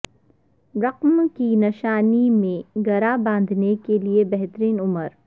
رقم کی نشانی میں گرہ باندھنے کے لئے بہترین عمر